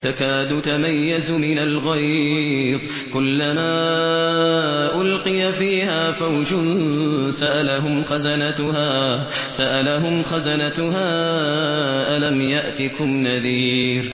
تَكَادُ تَمَيَّزُ مِنَ الْغَيْظِ ۖ كُلَّمَا أُلْقِيَ فِيهَا فَوْجٌ سَأَلَهُمْ خَزَنَتُهَا أَلَمْ يَأْتِكُمْ نَذِيرٌ